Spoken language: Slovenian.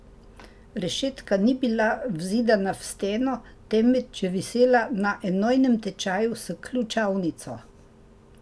Rešetka ni bila vzidana v steno, temveč je visela na enojnem tečaju s ključavnico.